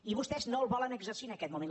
i vostès no el volen exercir en aquest moment